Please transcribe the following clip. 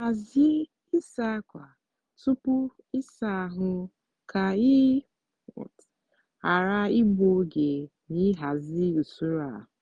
hazie ịsa ákwà tupu ịsa ahụ ka ị ghara igbu oge na ịhazi usoro a.